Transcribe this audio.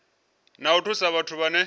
na u thusa vhathu vhane